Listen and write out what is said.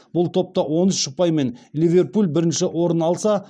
бұл топта он үш ұпаймен ливерпуль бірінші орын алса